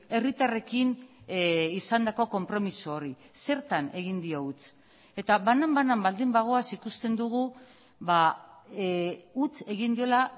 herritarrekin izandako konpromiso hori zertan egin dio huts eta banan banan baldin bagoaz ikusten dugu huts egin diola